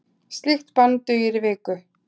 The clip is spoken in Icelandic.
Slíkt bann dugir í viku.